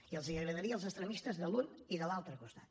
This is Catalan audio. i els agradaria als extremistes de l’un i de l’altre costat